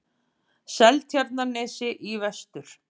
Seltjarnarnesi í vestur.